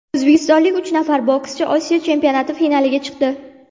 O‘zbekistonlik uch nafar bokschi Osiyo chempionati finaliga chiqdi.